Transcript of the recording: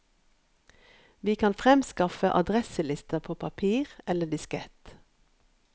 Vi kan fremskaffe addreselister på papir eller diskett.